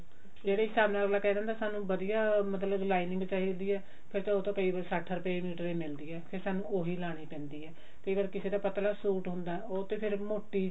ਜਿਹੜੇ ਹਿਸਾਬ ਅਗਲਾ ਕਿਹ ਦਿੰਦਾ ਸਾਨੂੰ ਕਿਹ ਦਿੰਦਾ ਵਧੀਆ ਮਤਲਬ lining ਚਾਹੀਦੀ ਹੈ ਫ਼ੇਰ ਉਹ ਤਾਂ ਕਈ ਵਾਰ ਸੱਠ ਰੁਪੇ ਮੀਟਰ ਹੀ ਮਿਲਦੀ ਹਾ ਫ਼ੇਰ ਸਾਨੂੰ ਓਹੀ ਲਾਉਣੀ ਪੈਂਦੀ ਹੈ ਕਈ ਵਾਰ ਕਿਸੇ ਦਾ ਪਤਲਾ ਸੂਟ ਹੁੰਦਾ ਉਹ ਤੇ ਫ਼ੇਰ ਮੋਟੀ